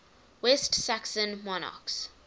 west saxon monarchs